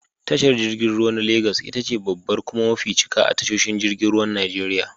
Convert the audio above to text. Tashar jirgin ruwa na lagas itace babbar kuma mafi cika a tashoshin jirgin ruwan Najeriya.